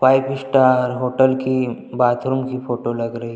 five star hotel की bathroom की photo लग रही --